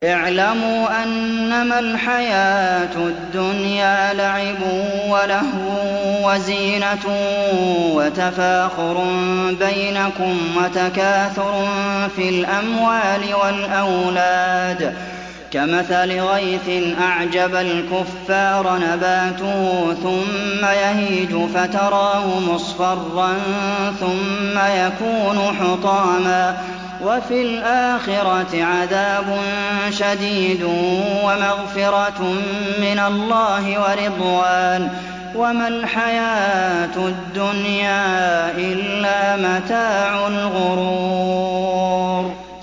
اعْلَمُوا أَنَّمَا الْحَيَاةُ الدُّنْيَا لَعِبٌ وَلَهْوٌ وَزِينَةٌ وَتَفَاخُرٌ بَيْنَكُمْ وَتَكَاثُرٌ فِي الْأَمْوَالِ وَالْأَوْلَادِ ۖ كَمَثَلِ غَيْثٍ أَعْجَبَ الْكُفَّارَ نَبَاتُهُ ثُمَّ يَهِيجُ فَتَرَاهُ مُصْفَرًّا ثُمَّ يَكُونُ حُطَامًا ۖ وَفِي الْآخِرَةِ عَذَابٌ شَدِيدٌ وَمَغْفِرَةٌ مِّنَ اللَّهِ وَرِضْوَانٌ ۚ وَمَا الْحَيَاةُ الدُّنْيَا إِلَّا مَتَاعُ الْغُرُورِ